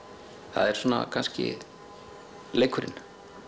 það er kannski leikurinn